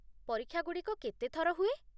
ପରୀକ୍ଷାଗୁଡ଼ିକ କେତେଥର ହୁଏ?